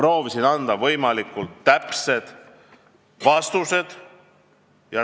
Proovisin anda võimalikult täpsed vastused.